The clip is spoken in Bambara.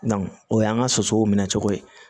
o y'an ka sosow minɛ cogo ye